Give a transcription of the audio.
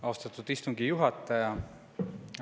Austatud istungi juhataja!